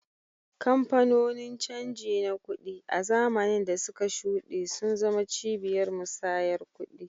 Kamfanonin canji na kuɗi, a zamanin da suka shuɗe, sun zama cibiyar musayar kuɗi.